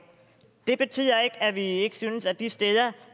det betyder ikke at vi ikke synes at man de steder